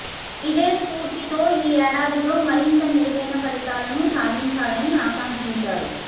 ఇదే స్పూర్తితో ఈ ఏడాదిలో మరింత మెరుగైన ఫలితాలను సాధించాలని అకాంక్షించారు